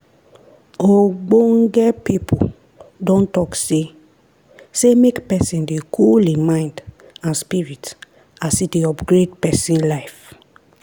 ogbonge pipo don talk say say make pesin dey cool hin mind and spirit as e dey upgrade pesin life.